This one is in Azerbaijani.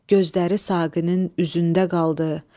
Gözləri Saqinin üzündə qaldı.